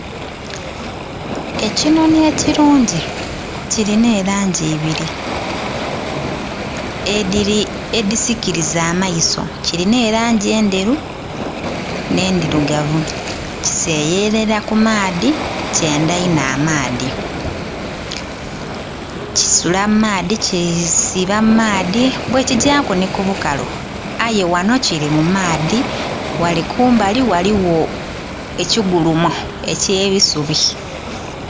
Ekinhonhi ekirungi kilina elangi ibiri edhisikiriza amaiso, kirina erangi endheru nh'endhirugavu. Kiseyerera ku maadhi kyendha inho amaadhi, kisula mu maadhi , kisiiba mu maadhi bwe kigyaku nhi ku bukalu, aye ghanho kiri mu maadhi, ghale kumbali ghaligho ekigulumo eky'ebisubi.